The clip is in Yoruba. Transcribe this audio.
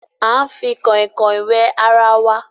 a ń fi Kànrìnkàn wẹ àrà wá.